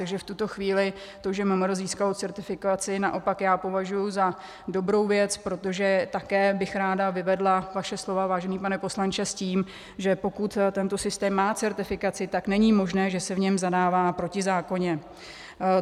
Takže v tuto chvíli to, že MMR získalo certifikaci, naopak já považuji za dobrou věc, protože také bych ráda vyvedla vaše slova, vážený pane poslanče, s tím, že pokud tento systém má certifikaci, tak není možné, že se v něm zadává protizákonně.